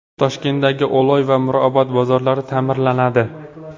Toshkentdagi Oloy va Mirobod bozorlari ta’mirlanadi.